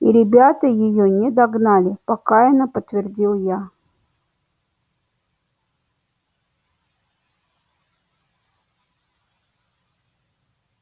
и ребята её не догнали покаянно подтвердил я